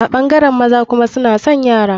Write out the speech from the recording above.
A ɓangaren maza kuma suna son yara.